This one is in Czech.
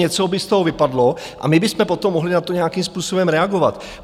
Něco by z toho vypadlo a my bychom potom mohli na to nějakým způsobem reagovat.